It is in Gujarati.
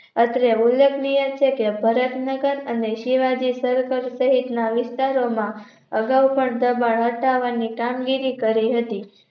અત્રે ઉલ્લેખનીય છે કે ભરત નગર અને શિવાજી Circle સહિતના વિસ્તારોમાં અગાઉ પણ પ્રમાણ સાત્વનની કામ ગિરી કરી હતી